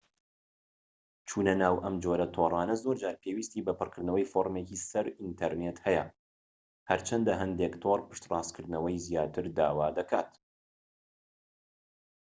چونە ناو ئەم جۆرە تۆڕانە زۆرجار پێویستی بە پڕکردنەوەی فۆڕمێکی سەر ئینتەرنێت هەیە هەرچەندە هەندێك تۆڕ پشتڕاستکردنەوەی زیاتر داوا دەکەن